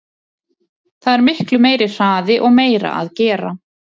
Það er miklu meiri hraði og meira að gera.